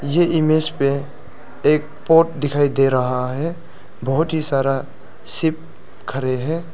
ये इमेज पे एक पोर्ट दिखाई दे रहा है बहुत ही सारा शिप खड़े हैं।